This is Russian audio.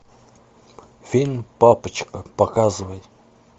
фильм папочка показывай